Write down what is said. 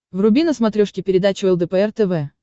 вруби на смотрешке передачу лдпр тв